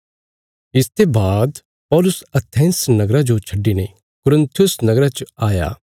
इसते बाद पौलुस एथेंस नगरा जो छड्डिने कुरिन्थुस नगरा च आया